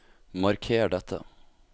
Marker dette